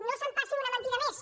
no s’empassin una mentida més